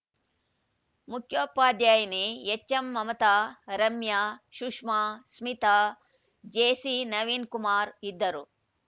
ಮುಖ್ಯೋಪಾಧ್ಯಾಯಿನಿ ಎಚ್‌ಎಂಮಮತಾ ರಮ್ಯ ಸುಷ್ಮ ಸ್ಮಿತಾ ಜೆಸಿನವೀನ್‌ಕುಮಾರ್‌ ಇದ್ದರು